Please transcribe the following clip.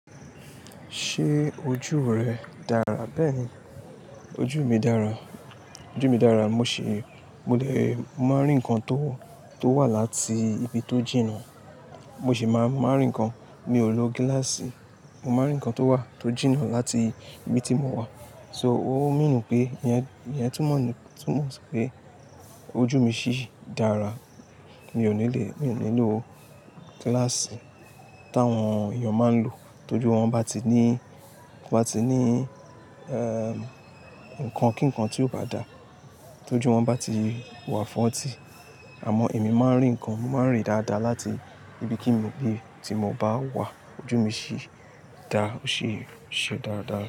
Ṣé ojú rẹ dára bẹ́ẹ̀ ni? Ojú mi dára, ojú mi dára, mo sì, mo dẹ̀, mo máa ń rí nǹkan tó, tó wà láti ibi tó jìnnà. Mo sì máa, máa rí nǹkan. Mi ò lo gíláàsì. Mo máa ń rí nǹkan tó wà, tó jìnnà láti ibi tí mo wà. So ó ń mí nu pé ìyẹn, ìyẹn túmọ̀ ní, túmọ̀ pé ojú mi ṣì dára. Mi ò ní le, mi ò ní lo gíláàsì táwọn èèyàn máa ń lò. Tójú wọn bá ti ní, bá ti ní, ẹ́, nǹkan kí nǹkan tí yóò bá da. Tójú wọn bá ti wà fọ́ntì. Àmọ́ èmi máa ń rí nǹkan, mò ń rí dáadáa láti ibi kí nì, ibi tí mo bá wà. Ojú mi ṣì dá, ṣì ṣe dáradára.